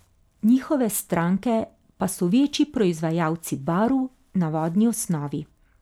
Njihove stranke pa so večji proizvajalci barv na vodni osnovi.